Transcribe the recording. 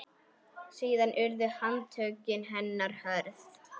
Síðan urðu handtök hennar hröð.